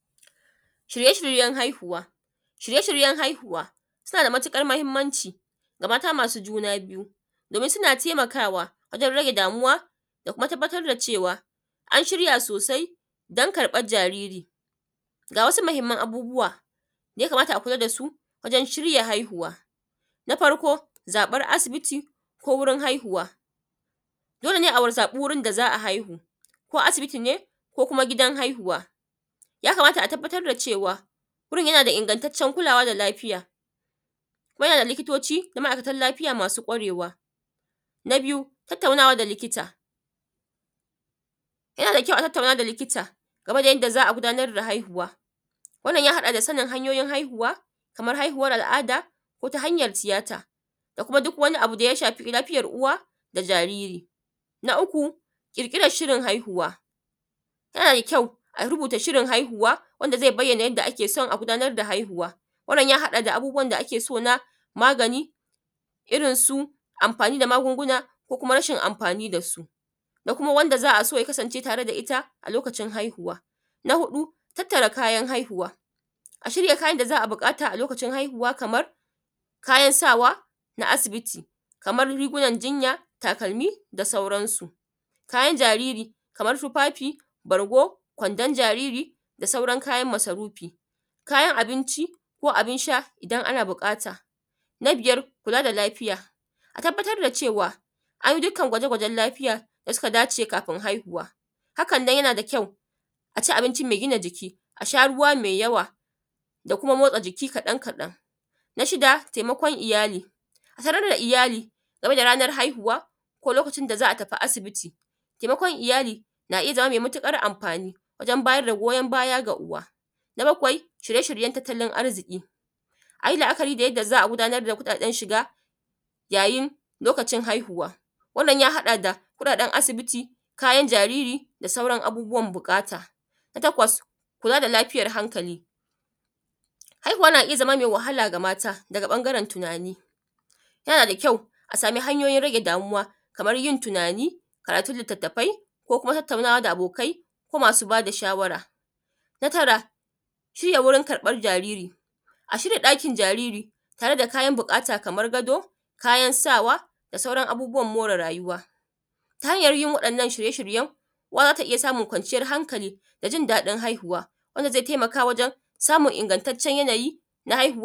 Shirye-shiryen haihuwa suna da matuƙar muhinmanci ga mata masu juna biyu domin suna taimakawa wajen rage damuwa da kuma tabbatar da cewa an shirya sosai dan karɓan jariri. Ga wasu mhinman abubuwa da ya kama a kula da su don shirya haihuwa na farko zaɓa asibiti ko wajen haihuwa dole ne a zaɓa wurin da za a haihu ko asibiti ne ko gidan haihuwa, ya kamata a tabbatar da cewa wurin yana da ingantaccen kulawa da lafiya kuma na da likitoci da ma’aikatan lafiya masu kwarewa. Na biyu tattaunawa da likita game da yanda za a gudanar da haihuwa, wannan ya haɗa da sanin hanyoyin haihuwa kaman haihuwan al’ada ko ta hanyan tiyata da kuma duk wani abu da ya shafi lafiyan uwa da jariri. Na uku ƙirƙiran shirin haihuwa yana da kyau a rubuta shirin haihuwa wanda zai bayyana yanda ake so a gudanar da haihuwa wannan ya haɗa da abubuwan da ake so na magani kaɗan-kaɗan. Na shida taimakon iyali, a sanar da iyali game da ranan haihuwa ko lokacin da za a tafi asibiti, taimakon iyali na iya zama mai matuƙar anfani wajen bayar da goyan baya ga uwa. Na bakwai shirye-shiryen tattalin arziƙi, a yi la’akari da yanda za a gudanar da kuɗaɗen shiga lokacin haihuwa wannan ya haɗa da kuɗaɗen asibiti, kayan jariri da sauran abubuwan buƙata. Na takwas, kula da lafiyan hankali, haihuwa na iya zama mai wahala ga mata ta ɓangaren tunani yana da kyau a sama hanyoyin rage damuwa kaman yin tunani, karatun litattafai ko kuma tattaunawa da abokai ko masu ba da shawara, na tara shirya wajen karɓan jariri, a shirya ɗakin jariri tare da kayan buƙata kaman gado, kayan sawa da sauran abubuwan more rayuwa ta hanyan yin wa’yannan shirye-shiryen uwa za ta iya samun kwanciyan hankali da jin daɗin haihuwa wanda zai taimaka wajen samun ingantaccen yanayi na haihuwa.